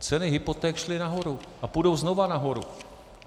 Ceny hypoték šly nahoru a půjdou znova nahoru.